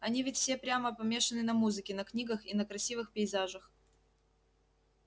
они ведь все прямо помешаны на музыке на книгах и на красивых пейзажах